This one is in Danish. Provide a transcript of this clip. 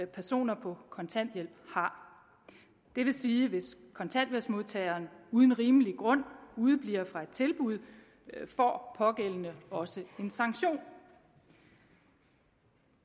personer på kontanthjælp har det vil sige hvis kontanthjælpsmodtageren uden rimelig grund udebliver fra et tilbud får pågældende også en sanktion